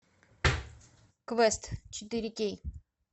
квест четыре кей